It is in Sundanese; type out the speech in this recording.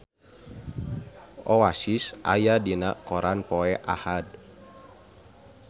Oasis aya dina koran poe Ahad